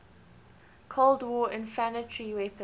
cold war infantry weapons